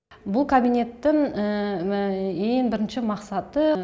бұл кабинеттің ең бірінші мақсаты